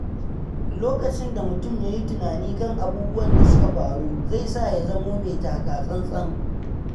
Lokacin da mutum ya yi tunani kan abubuwan da suka faru, zai sa ya zamo mai taka tsantsan.